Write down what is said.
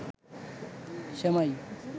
সেমাই